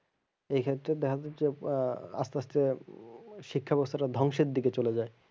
এইখেত্রে দেখা যায় যে আহ আসতে আসতে শিক্ষা বেবস্থাটা ধ্বংসের দিকে চলে যায়।